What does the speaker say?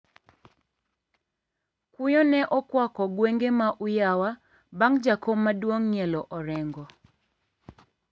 Kuyo ne okwako gwenge ma Uyawa bang` jakom maduong` ng`ielo orengo.